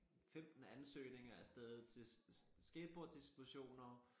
15 ansøgninger afsted til skateboard disposioner